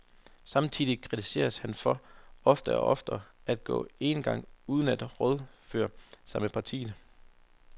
Samtidig kritiseres han for oftere og oftere at gå enegang uden at rådføre sig med partiet.